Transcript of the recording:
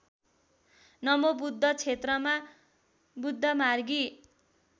नमोबुद्ध क्षेत्रमा बुद्धमार्गी